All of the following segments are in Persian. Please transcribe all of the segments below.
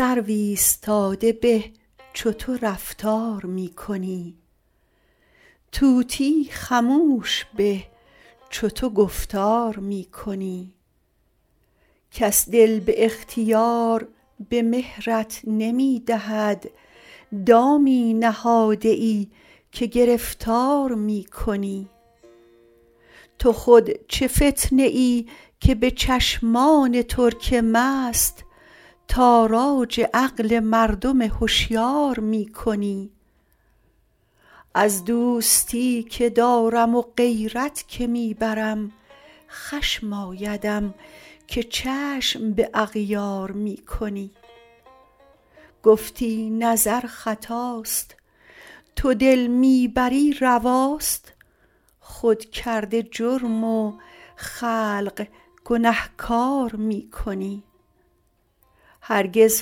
سرو ایستاده به چو تو رفتار می کنی طوطی خموش به چو تو گفتار می کنی کس دل به اختیار به مهرت نمی دهد دامی نهاده ای که گرفتار می کنی تو خود چه فتنه ای که به چشمان ترک مست تاراج عقل مردم هشیار می کنی از دوستی که دارم و غیرت که می برم خشم آیدم که چشم به اغیار می کنی گفتی نظر خطاست تو دل می بری رواست خود کرده جرم و خلق گنهکار می کنی هرگز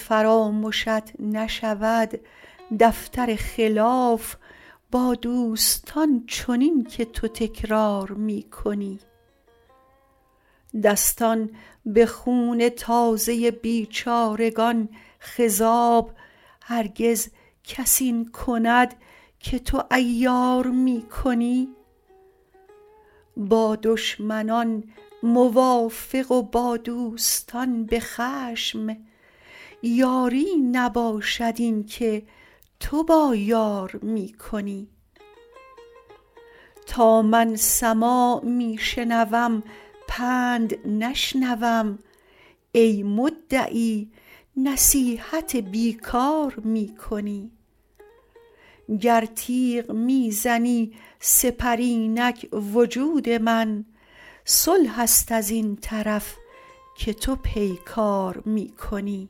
فرامشت نشود دفتر خلاف با دوستان چنین که تو تکرار می کنی دستان به خون تازه بیچارگان خضاب هرگز کس این کند که تو عیار می کنی با دشمنان موافق و با دوستان به خشم یاری نباشد این که تو با یار می کنی تا من سماع می شنوم پند نشنوم ای مدعی نصیحت بی کار می کنی گر تیغ می زنی سپر اینک وجود من صلح است از این طرف که تو پیکار می کنی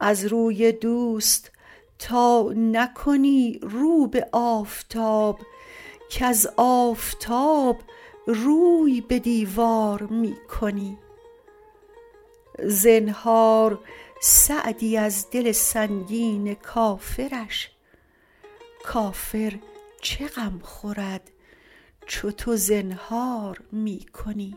از روی دوست تا نکنی رو به آفتاب کز آفتاب روی به دیوار می کنی زنهار سعدی از دل سنگین کافرش کافر چه غم خورد چو تو زنهار می کنی